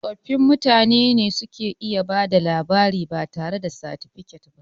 Tsofi mutane ne da suka iya bada labari batare da satifikat ba